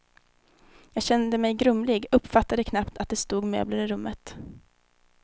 Jag kände mig grumlig, uppfattade knappt att det stod möbler i rummet.